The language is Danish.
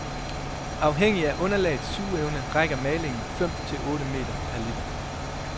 Afhængig af underlagets sugeevne rækker malingen fem til otte meter per liter.